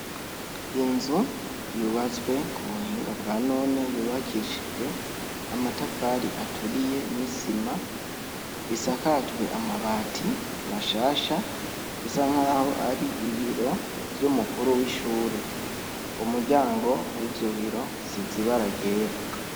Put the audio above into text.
Inzu, yubatswe kubuhinga bwanone, yubakishijwe amatafari aturiye n'isima, isakajwe amabati mashasha, isa nkaho ar'ibiro vyumukuru w'ishure. Umuryango wivyo biro usize ibara ryera.